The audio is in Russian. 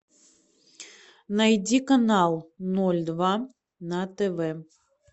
найди канал ноль два на тв